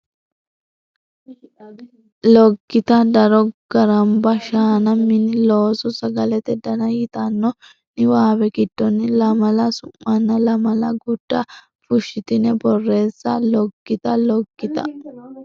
Loggita daro Garamba shaana Mini Looso Sagalete Dana yitanno niwaawe giddonni lamala su manna lamala gurda fushshitine borreesse Loggita Loggita.